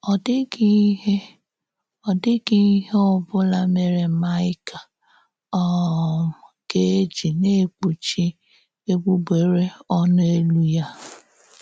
Ọ dị̀ghị íhè Ọ dị̀ghị íhè ọ̀bụ́la mèrè Maịka um gà-èjì ‘na-ékpùchì égbùgbèrè ọ̌̀nụ̀ élú’ ya.